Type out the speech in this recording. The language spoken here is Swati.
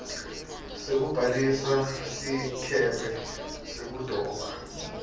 sekubhalisa sikebhe sekudoba